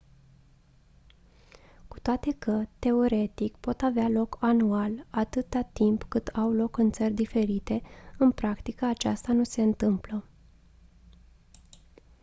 cu toate că teoretic pot avea loc anual atâta timp cât au loc în țări diferite în practică aceasta nu se întâmplă